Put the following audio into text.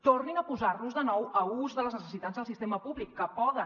tornin a posar los de nou a ús de les necessitats del sistema públic que poden